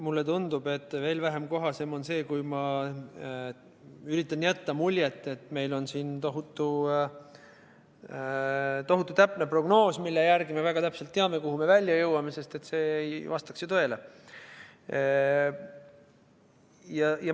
Mulle tundub, et veel vähem kohasem oleks see, kui ma üritan jätta muljet, et meil on siin tohutult täpne prognoos, mille järgi me väga täpselt teame, kuhu me välja jõuame, sest et see ei vastaks ju tõele.